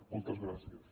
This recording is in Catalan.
moltes gràcies